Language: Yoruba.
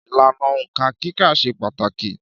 Ìlànà Òǹkà kíkà ṣe pàtàkì